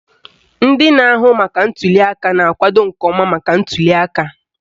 Ndị na-ahụ maka ntuliaka na-akwado nke ọma maka ntuliaka.